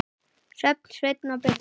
Sjöfn, Sveinn og Birna.